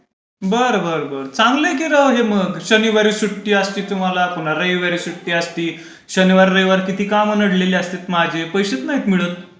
बर बर. चांगलंय कि राव हे मग शनिवारी सुट्टी असते तुम्हाला रविवारी सुट्टी असते शनिवार रविवार किती काम अडलेली असतात माझे पैसेच नाही मिळत.